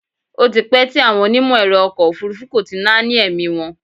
Ó ti pẹ́ tí àwọn onímọ̀ ẹ̀rọ ọkọ̀ òfúrúfú kò ti náání ẹ̀mí wọn.